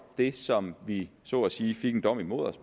det som vi så at sige fik en dom imod os